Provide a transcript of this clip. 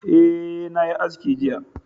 Ae, na yi aski jiya